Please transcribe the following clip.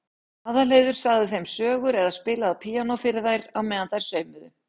Aðalheiður sagði þeim sögur eða spilaði á píanó fyrir þær á meðan þær saumuðu.